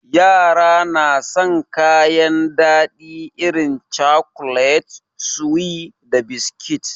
Yara na san kayan daɗi irin cakulet, suwi da biskit.